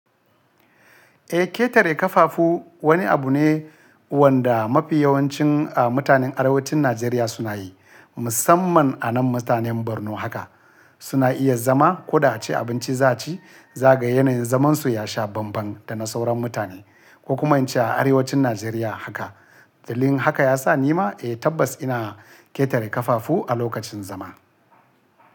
Eh, ƙetare ƙafafu wani abu ne wanda mafi yawancin mutanen Arewacin Najeriya suna yi, musamman anan mutanen Borno haka. Suna iya zama koda a ce abinci za a ci, zaka ga yanayin zaman su ya sha banban da na sauran mutane, ko kuma in ce a arewacin Najeriya haka. Dalilin haka yasa ni ma eh tabbas ina ƙetare ƙafafu a lokacin zama.